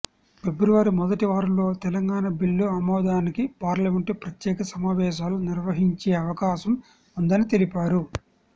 ఫిబ్రవరి మొదటి వారంలో తెలంగాణ బిల్లు ఆమోదానికి పార్లమెంటు ప్రత్యేక సమావేశాలు నిర్వహించే అవకాశం ఉందని తెలిపారు